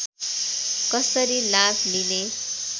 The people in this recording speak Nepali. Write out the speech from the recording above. कसरी लाभ लिने